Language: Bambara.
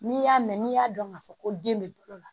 N'i y'a mɛn n'i y'a dɔn ka fɔ ko den bɛ bolo la